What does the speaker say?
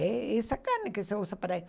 É essa carne que se usa para i